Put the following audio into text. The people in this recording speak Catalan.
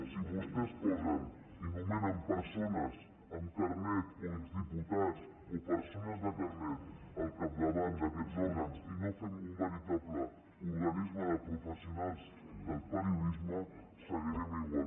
si vostès posen i nomenen persones amb carnet o exdiputats o perso·nes de carnet al capdavant d’aquests òrgans i no fem un veritable organisme de professionals del periodisme seguirem igual